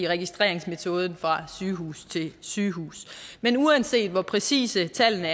registreringsmetoden fra sygehus til sygehus men uanset hvor præcise tallene